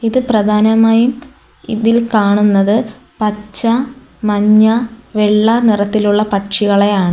ഇത് പ്രധാനമായും ഇതിൽ കാണുന്നത് പച്ച മഞ്ഞ വെള്ള നിറത്തിലുള്ള പക്ഷികളെയാണ്.